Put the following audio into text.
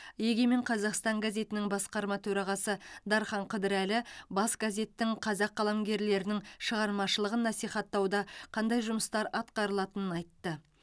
егемен қазақстан газетінің басқарма төрағасы дархан қыдырәлі бас газеттің қазақ қаламгерлерінің шығармашылығын насихаттауда қандай жұмыстар атқарылатынын айтты